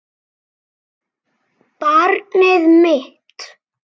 Barnið mitt.